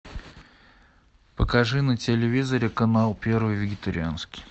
покажи на телевизоре канал первый вегетарианский